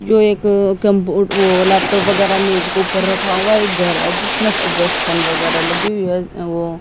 जो एक अ कंप्यूट वो लैपटॉप वगैरा मेज के ऊपर रखा हुआ एक घर है जिसमें एग्जास्ट फैन वगैरा लगी हुई है वो